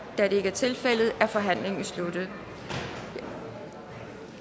da det ikke er tilfældet er forhandlingen sluttet jeg